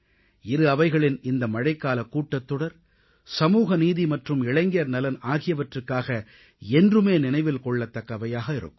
இரு அவைகளின் இந்த மழைக்காலக் கூட்டத்தொடர் சமூக நீதி மற்றும் இளைஞர் நலன் ஆகியவற்றுக்காக என்றுமே நினைவில் கொள்ளத்தக்கவையாக இருக்கும்